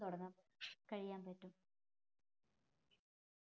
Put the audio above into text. തുടങ്ങാം കയ്യാൻ പറ്റും